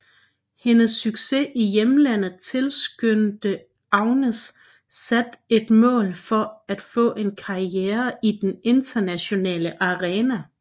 Hendes succes i hjemlandet tilskynde Agnez sat et mål at få en karriere i den internationale arena